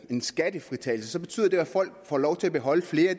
den skattefritagelse der